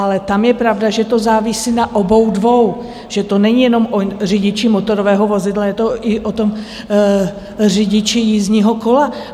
Ale tam je pravda, že to závisí na obou dvou, že to není jenom o řidiči motorového vozidla, je to i o tom řidiči jízdního kola.